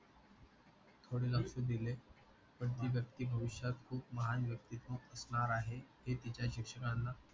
थोडे लक्ष दिले पण तीच ते भविष्यात खूप महान व्यक्तित्व असणार आहे हे तिच्या शिक्षणाना